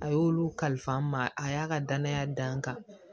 A y'olu kalifa n ma a y'a ka danaya da n kan